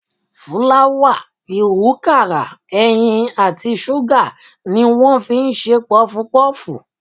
Fúláwà, ìwúkàrà, ẹyin àti ṣúgà ni wọ́n fi ń ṣe pọfupọ́ọ̀fù.